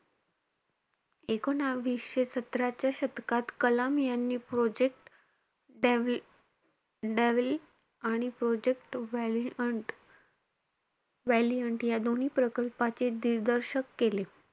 एकोणवीसशे सतराच्या शतकात कलाम यांनी project devil आणि project valiant valiant या दोन्ही प्रकल्पाचे दिरदर्शक केले.